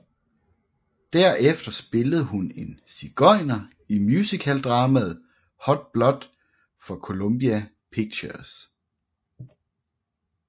Derefter spillede hun en sigøjner i musicaldramaet Hot Blood for Columbia Pictures